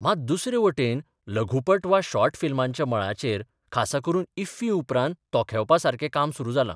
मात दुसरे वटेन लघुपट वा शॉर्ट फिल्मांच्या मळाचेर खासा करून इफ्फी उपरांत तोखेवपा सारकें काम सुरू जालां.